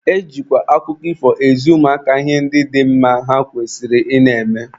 E jikwa akụkọ ifo ezi ụmụaka ihe dị mma ha kwesịrị ị na-eme.